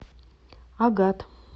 агат